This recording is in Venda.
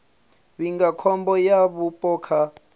vhiga khombo ya vhupo kha